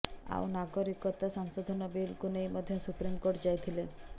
ଆଉ ନାଗରିକତା ସଂଶୋଧନ ବିଲକୁ ନେଇ ମଧ୍ୟ ସୁପ୍ରିମକୋର୍ଟ ଯାଇଥିଲେ